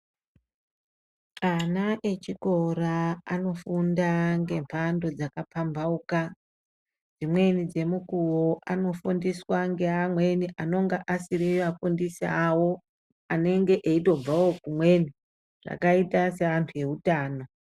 Ana echikora anofunda ngemhando dzakapambauka. Dzimweni dzemukuvo anofundiswa ngeamweni anonga asiri afundisi avo. Anenge eitobvavo kumweni zvakaita seantu eutano.